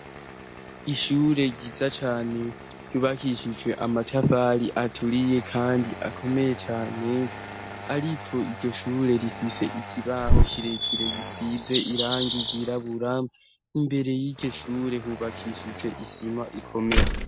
Ishure giza cane ryubakishijwe amatafali aturiye, kandi akomeye cane, ariko iryo shure rifise ikibaho kirekire gisize iranga igirabura imbere y'igishure hubakishije isima ikomeye.